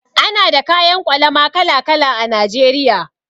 Ana da kayan ƙwalama kala-kala a Najeriya.